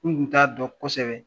N kun t'a dɔn kosɛbɛ